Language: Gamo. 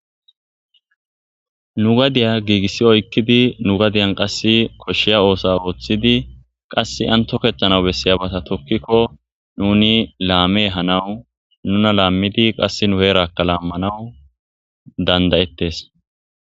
Nu gadiya giigissi oykkidi nu gadiyan qass koshshiya oosa ooththidi qass antokehtana bessiyabata tokkikko nuni laame hanawu nuna laammidi qass nu heerakka laammanawu dandayettes.